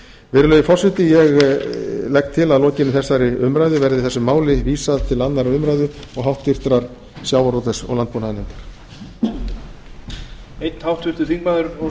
virðulegi forseti ég legg til að að lokinni þessari umræðu verði þessu máli vísað til annarrar umræðu og háttvirtur sjávarútvegs og landbúnaðarnefndar